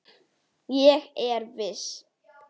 Ég er viss.